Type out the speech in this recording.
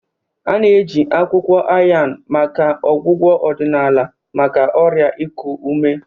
A na-eji akwukwo Ayan maka ọgwụgwọ odinaala maka ọrịa iku ume.